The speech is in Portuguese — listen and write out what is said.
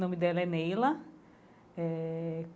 Nome dela é Neila eh.